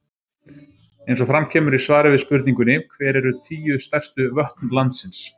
Eins og fram kemur í svari við spurningunni Hver eru tíu stærstu vötn landsins?